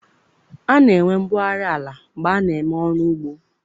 A na-enwe mbugharị ala mgbe a na eme ọrụ ugbo.